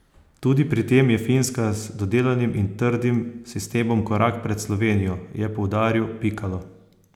Tudi pri tem je Finska z dodelanim in trdim sistemom korak pred Slovenijo, je poudaril Pikalo.